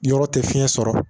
Yɔrɔ tɛ fiɲɛ sɔrɔ